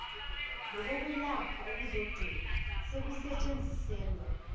nokokwelapha okuzogcina sekusetshenziselwa